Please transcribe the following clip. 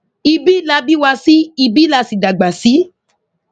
ibi la bí wa sí ibi la sì dàgbà sí